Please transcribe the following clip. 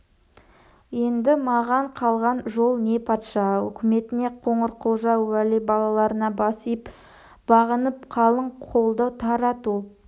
енді маған қалған жол не патша үкіметіне қоңырқұлжа уәли балаларына бас иіп бағынып қалың қолды тарату